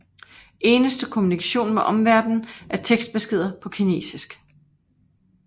Eneste kommunikation med omverden er tekstbeskeder på kinesisk